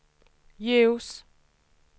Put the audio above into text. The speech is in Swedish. ljus